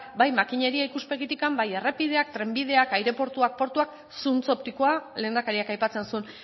bai makineria ikuspegitik bai errepideak trenbideak aireportuak portuak zuntz optikoa lehendakariak aipatzen zuen